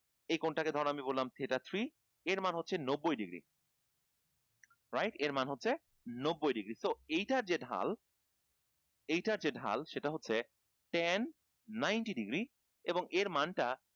এই কোন টাকে ধরেন আমি বললাম theta three এর মানে হচ্ছে নব্বই ডিগ্রী right এর মান হচ্ছে নব্বই ডিগ্রী তো এটার যে ঢাল এইটার যে ঢাল সেটা হচ্ছে ten ninety degree এবং এর মান টা